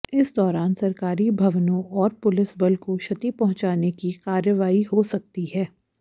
इस दौरान सरकारी भवनों और पुलिस बल को क्षति पहुंचाने की कार्रवाई हो सकती है